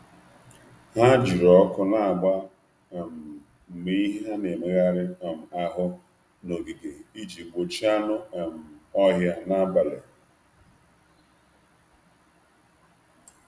Ha jiri ọkụ na-agba um mgbe ihe na-emegharị um ahụ n’ogige iji gbochie anụ um ọhịa n’abalị.